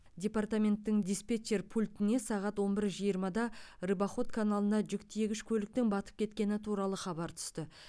департаменттің диспетчер пультіне сағат он бір жиырмада рыбоход каналына жүк тиегіш көліктің батып кеткені туралы хабар түсті